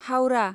Howrah